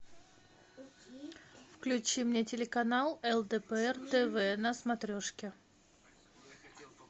включи мне телеканал лдпр тв на смотрешке